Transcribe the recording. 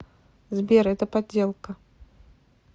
сбер это подделка